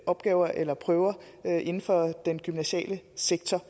opgaver eller prøver inden for den gymnasiale sektor